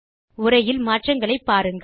உரையில் மாற்றங்களை பாருங்கள்